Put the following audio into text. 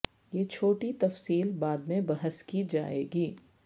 یہ چھوٹی تفصیل بعد میں بحث کی جائے گی